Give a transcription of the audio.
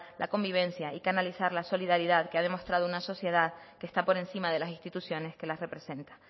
la convivencia y canalizar la solidaridad que ha demostrado una sociedad que está por encima de las instituciones que las representa